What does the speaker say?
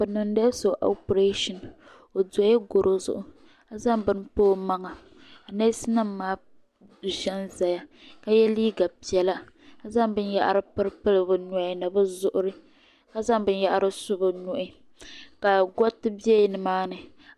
Bi niŋdila so opilesa o dola goro zuɣu n zaŋ bini pa o maŋa neesi nima maa kuli zanzaya ka ye liiga piɛla ka zaŋ binyahiri pili pili bɛ nuhini ni bɛ zuŋuri ka.zaŋ binyahiri su bɛ nuhi ka goriti bela nimaani.